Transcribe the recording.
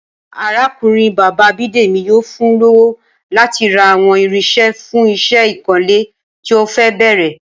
Arákùnrin bàbá Bídèmí yóò fun lówó láti ra àwọn irinṣẹ́ fún iṣẹ́ ìkunlé tí ó fẹ́ bẹ̀rẹ̀